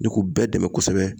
Ni k'u bɛɛ dɛmɛ kɔsɛbɛ.